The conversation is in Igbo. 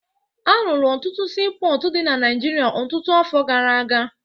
Arụrụ ọtụtụ siipọọtụ dị na Naịjirịa ọtụtụ afọ gara aga